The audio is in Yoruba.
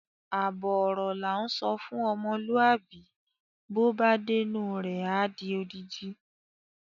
Àbọ̀ ọ̀rọ̀ là ń sọ fún ọmọlúàbí bó bá dénú rẹ̀ á di odidi.